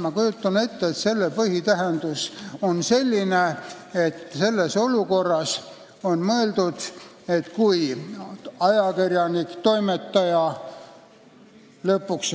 Ma kujutan ette, et selle sõna põhitähendus on selline: siin on mõeldud seda, kui ajakirjanik, toimetaja, lõpuks